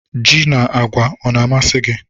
Ji na agwa ọ na-amasị gị?